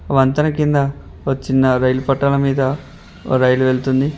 వంతెన కింద వచ్చిన రైలు పట్టాల మీద రైలు వెళుతుంది.